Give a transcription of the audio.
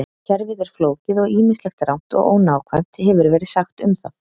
Kerfið er flókið og ýmislegt rangt og ónákvæmt hefur verið sagt um það.